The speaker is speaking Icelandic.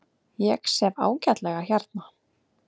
Ég sef ágætlega hérna.